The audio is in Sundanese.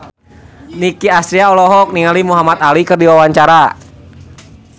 Nicky Astria olohok ningali Muhamad Ali keur diwawancara